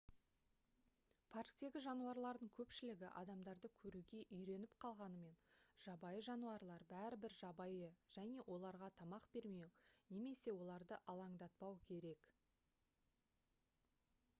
парктегі жануарлардың көпшілігі адамдарды көруге үйреніп қалғанымен жабайы жануарлар бәрібір жабайы және оларға тамақ бермеу немесе оларды алаңдатпау керек